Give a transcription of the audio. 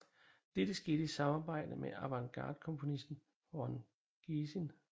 Dette skete i samarbejde med avantgardekomponisten Ron Geesin